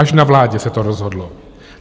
Až na vládě se to rozhodlo.